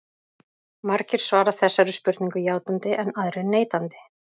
Margir svara þessari spurningu játandi en aðrir neitandi.